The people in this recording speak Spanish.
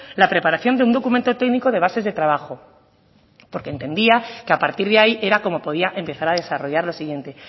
la preparación de un documento técnico de bases de trabajo porque entendía que a partir de ahí era como podía empezar a desarrollar lo siguiente